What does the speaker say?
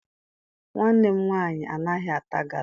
Nwanne m nwaanyị anaghị ata gala.